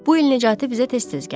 Bu il Nicatı bizə tez-tez gəlir.